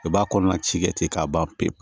I b'a kɔnɔna ci kɛ ten k'a ban pewu